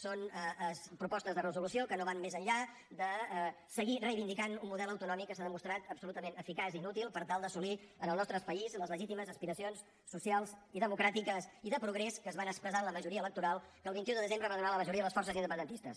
són propostes de resolució que no van més enllà de seguir reivindicant un model autonòmic que s’ha demostrat absolutament ineficaç i inútil per tal d’assolir en el nostre país les legítimes aspiracions socials i democràtiques i de progrés que es van expressar amb la majoria electoral que el vint un de desembre va donar la majoria a les forces independentistes